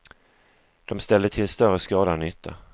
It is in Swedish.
De ställde till större skada än nytta.